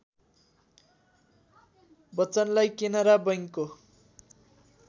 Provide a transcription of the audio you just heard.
बच्चनलाई केनरा बैंकको